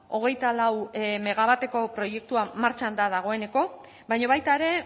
hogeita lau megawatteko proiektua martxan da dagoeneko baina baita ere